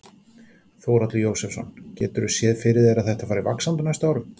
Þórhallur Jósefsson: Geturðu séð fyrir þér að þetta fari vaxandi á næstu árum?